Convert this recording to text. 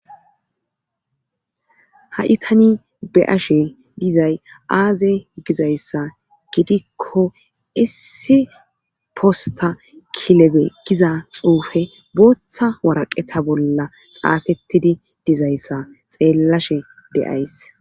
Ha'itani beyashe dizay aaze gizayssa gidikko issi posta kilebe giza xuufe booththa waraqeta bolla xaafettidi dizayssa xeellashe deyays.